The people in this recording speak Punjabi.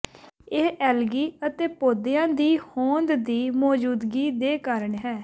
ਇਹ ਐਲਗੀ ਅਤੇ ਪੌਦਿਆਂ ਦੀ ਹੋਂਦ ਦੀ ਮੌਜੂਦਗੀ ਦੇ ਕਾਰਨ ਹੈ